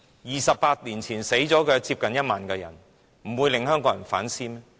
二十八年前的六四死了接近1萬人，能不令香港人反思嗎？